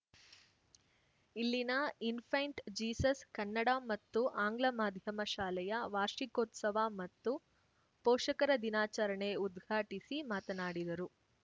ಇಲ್ಲಿನ Infant Jesus Kannada ಮತ್ತು ಆಂಗ್ಲ ಮಾಧ್ಯಮ ಶಾಲೆಯ ವಾರ್ಷಿಕೋತ್ಸವ ಮತ್ತು ಪೋಷಕರ ದಿನಾಚರಣೆ ಉದ್ಘಾಟಿಸಿ ಮಾತನಾಡಿದರು